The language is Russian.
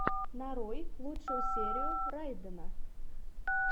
нарой лучшую серию райдена